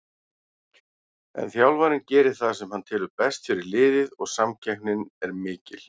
En þjálfarinn gerir það sem hann telur best fyrir liðið og samkeppnin er mikil.